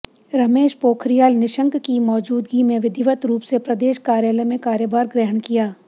रमेश पोखरियाल निशंक की मौजूदगी में विधिवत रूप से प्रदेश कार्यालय में कार्यभार ग्रहण किया